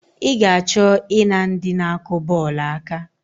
I ga-achọ I na ndị na-akụ bọọlụ aka?